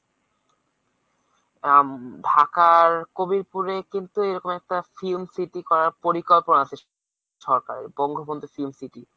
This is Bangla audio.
আম~ ঢাকার কবির্পুরে কিন্তু এরকম একটা film city করার পরিকল্পনা আছে সরকারের বঙ্গবন্ধু film city।